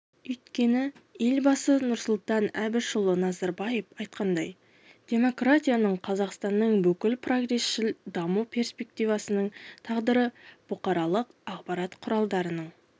өйткені елбасы нұрсұлтан әбішұлы назарбаев айтқандай демократияның қазақстанның бүкіл прогресшіл даму перспективасының тағдыры бұқаралық ақпарат құралдарының